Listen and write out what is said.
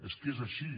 és que és així